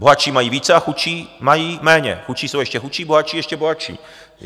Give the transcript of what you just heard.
Bohatší mají více a chudší mají méně, chudší jsou ještě chudší, bohatší ještě bohatší.